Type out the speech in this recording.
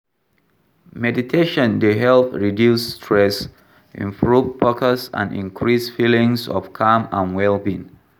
Meditation dey help reduce stress, improve focus and increase feelings of calm and well-being.